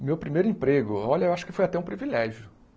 O meu primeiro emprego, olha, eu acho que foi até um privilégio.